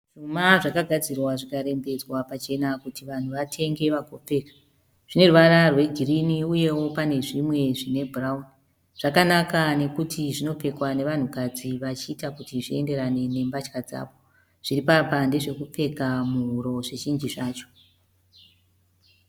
Zvuma zvakagadzirwa zvikarembedzwa pachena kuti vanhu vatenge vagopfeka. Zvine ruvara rwe girinhi uyewo pane zvimwe zvine bhurauni. Zvakanaka nokuti zvinopfekwa nevanhu kadzi vachiita kuti zvienderane nembatya dzavo. Zviripapa ndezvekupfeka muhuro zvizhinji zvacho.